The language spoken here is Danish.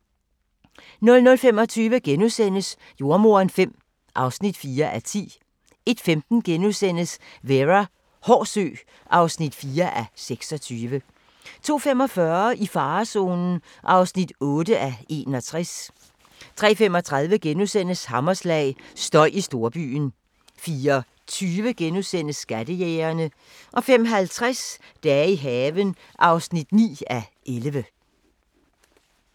00:25: Jordemoderen V (4:10)* 01:15: Vera: Hård sø (4:26)* 02:45: I farezonen (8:61) 03:35: Hammerslag – støj i storbyen * 04:20: Skattejægerne * 05:50: Dage i haven (9:11)